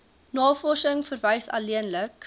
navorsing verwys alleenlik